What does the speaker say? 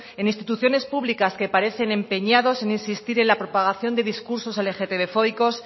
en instituciones públicas que parecen empeñados en insistir en la propagación de discursos lgtbfóbicos